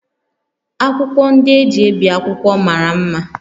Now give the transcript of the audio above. Akwụkwọ ndị e ji ebi akwụkwọ mara mma